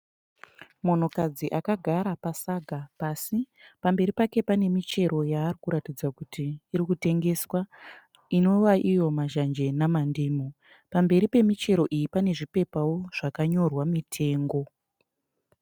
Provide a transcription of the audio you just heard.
Munhukadzi akagara pasaga pasi. Pamberi pake pane michero yaarikuratidza kuti irikutengeswa. Inova iyo mazhanje namandimu. Pamberi pemichero iyi pane zvipepao zvakanyorwa mitengo.